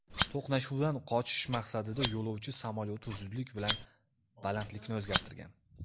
To‘qnashuvdan qochish maqsadida yo‘lovchi samolyoti zudlik bilan balandlikni o‘zgartirgan.